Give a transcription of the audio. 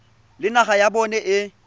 le naga ya bona e